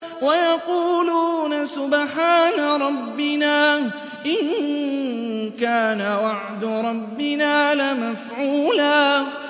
وَيَقُولُونَ سُبْحَانَ رَبِّنَا إِن كَانَ وَعْدُ رَبِّنَا لَمَفْعُولًا